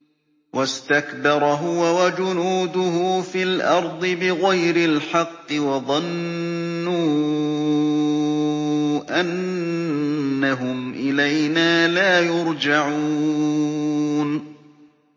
وَاسْتَكْبَرَ هُوَ وَجُنُودُهُ فِي الْأَرْضِ بِغَيْرِ الْحَقِّ وَظَنُّوا أَنَّهُمْ إِلَيْنَا لَا يُرْجَعُونَ